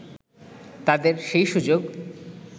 তাদের সেই সুযোগ